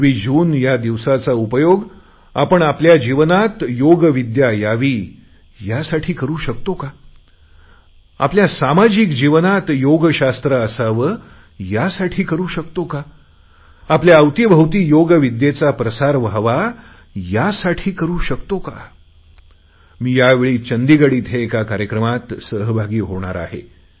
21 June या दिवसाचा उपयोग आपण आपल्या जीवनात योगविद्या यासाठी करु शकतो का आपल्या सामाजिक जीवनात योगशास्त्र असावे यासाठी करु शकतो का आपल्या अवतीभवती योगविद्येचा प्रसार व्हावा यासाठी करु शकतो का मी यावेळी चंदीगड येथे एका कार्यक्रमात सहभागी होणार आहे